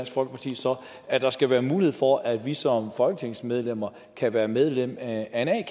folkeparti så at der skal være mulighed for at vi som folketingsmedlemmer kan være medlem af en a